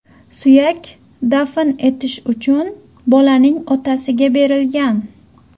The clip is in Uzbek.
Suyak dafn etish uchun bolaning otasiga berilgan.